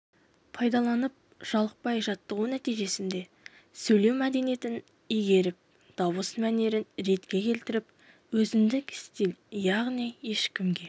пайдаланып жалықпай жаттығу нәтижесінде сөйлеу мәдениетін игеріп дауыс мәнерін ретке келтіріп өзіндік стиль яғни ешкімге